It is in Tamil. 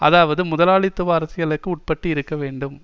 அதாவது முதலாளித்துவ அரசியலுக்கு உட்பட்டு இருக்க வேண்டும்